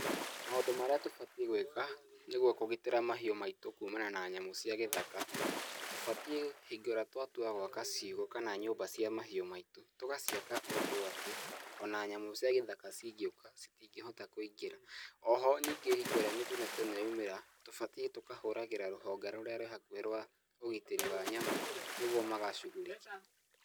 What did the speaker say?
Maũndũ marĩa tũbatiĩ gwĩka nĩguo kũgitĩra mahiũ maitũ kumana na nyamũ cia gĩthaka, tũbatiĩ hingo ĩrĩa twatua gwaka ciugũ kana nyũmba cia mahiũ maitũ tũgaciaka ũndũ atĩ, ona nyamũ cia gĩthaka cingĩũka citingĩhota kũingĩra. Oho ningĩ hingo ĩrĩa mĩtino ta ĩno yaumĩra, tũbatiĩ tũkahũragĩra rũhonge rũrĩa rwĩ hakuhĩ rwa ũgitĩri wa nyamũ nĩguo magacugurike.